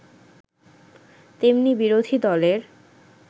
তেমনি বিরোধী দলের